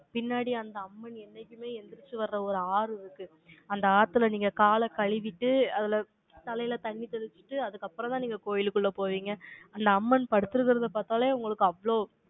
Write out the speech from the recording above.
பின்னாடி, அந்த அம்மன், என்னைக்குமே, எந்திரிச்சு வர்ற, ஒரு ஆறு இருக்கு அந்த ஆத்தில, நீங்க காலை கழுவிட்டு, அதுல, தலையில தண்ணி தெளிச்சுட்டு, அதுக்கப்புறம்தான், நீங்க கோயிலுக்குள்ள போவீங்க. அந்த அம்மன் படுத்திருக்கறதை பாத்தாலே, உங்களுக்கு அவ்வளவு,